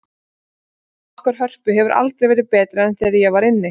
Já, og sambandið okkar Hörpu hefur aldrei verið betra en þegar ég var inni.